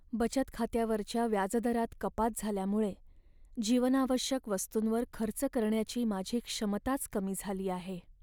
बचत खात्यावरच्या व्याजदरात कपात झाल्यामुळे जीवनावश्यक वस्तूंवर खर्च करण्याची माझी क्षमताच कमी झाली आहे.